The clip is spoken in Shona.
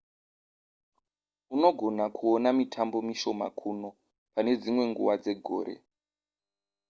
unogona kuona mitambo mishoma kuno pane dzimwe nguva dzegore